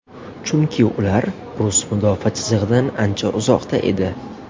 Chunki ular rus mudofaa chizig‘idan ancha uzoqda edi.